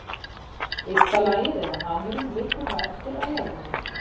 Ysta lagið eða hamurinn liggur þá eftir á jörðinni.